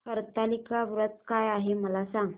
हरतालिका व्रत काय आहे मला सांग